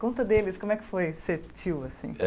Conta deles como é que foi ser tio assim.